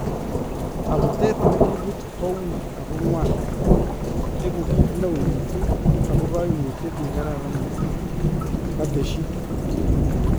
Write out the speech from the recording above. Kabuteet nekikibuut kou wuuy ak ko ng'waan . Ekuu kiit newuuy missing ako kaimutyet nekararan missing," katesyii.